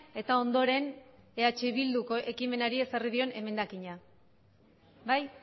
eta ondoren eh bildu ekimenari ezarri dion emendakina bai